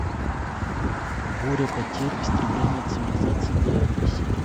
буря потерь истребление цивилизации девятая серия